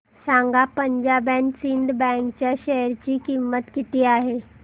सांगा Punjab and Sind bank च्या share ची किंमत किती आहे